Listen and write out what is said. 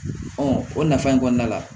o nafa in kɔnɔna la